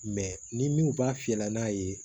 ni min b'a fiyɛ n'a ye